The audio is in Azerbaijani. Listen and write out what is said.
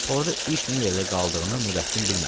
Orda iş nə yerdə qaldığını Nurəddin bilmədi.